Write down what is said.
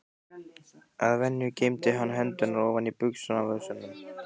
Að venju geymdi hann hendurnar ofan í buxnavösunum.